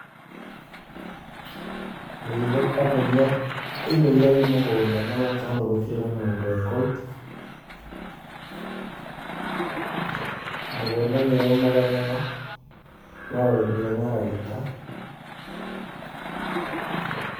Nĩ ithũkangagia indo iria i mũgũnda mũno tondũ gũtirĩ na mũndũ e kũu. Mũgũnda nĩ ũmaga mũno no ũrĩmire na ragita.